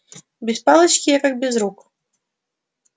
без палочки я как без рук